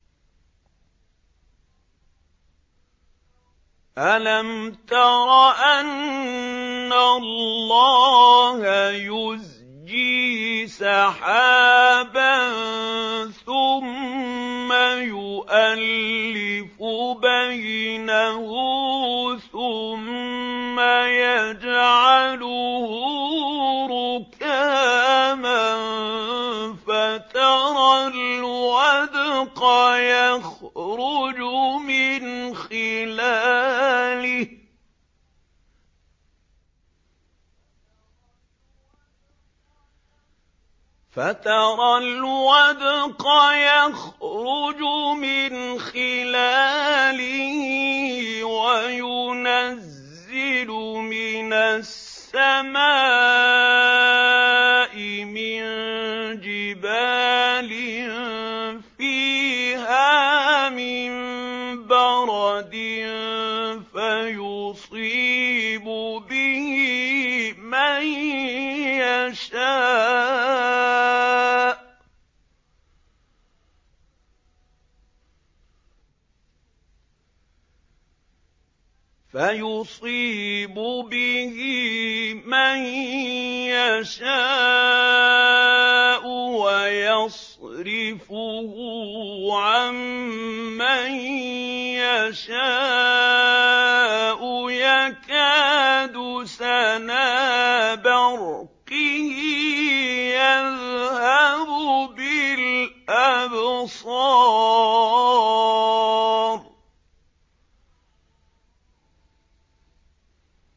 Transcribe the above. أَلَمْ تَرَ أَنَّ اللَّهَ يُزْجِي سَحَابًا ثُمَّ يُؤَلِّفُ بَيْنَهُ ثُمَّ يَجْعَلُهُ رُكَامًا فَتَرَى الْوَدْقَ يَخْرُجُ مِنْ خِلَالِهِ وَيُنَزِّلُ مِنَ السَّمَاءِ مِن جِبَالٍ فِيهَا مِن بَرَدٍ فَيُصِيبُ بِهِ مَن يَشَاءُ وَيَصْرِفُهُ عَن مَّن يَشَاءُ ۖ يَكَادُ سَنَا بَرْقِهِ يَذْهَبُ بِالْأَبْصَارِ